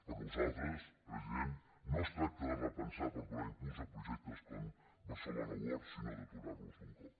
per nosaltres president no es tracta de repensar per donar impuls a projectes com barcelona world sinó d’aturar los d’un cop